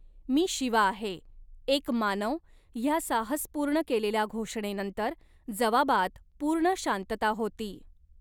मी शिवा आहे. एक मानव', ह्या साहसपुर्ण केलेल्या घोषणेनंतर, जवाबात, पुर्ण शांतता होती.